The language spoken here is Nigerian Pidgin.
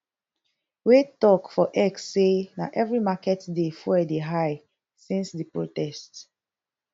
wey tok for x say na every market day fuel dey high since di protest